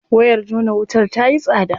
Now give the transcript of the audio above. Wayar jona wutar tayi tsada.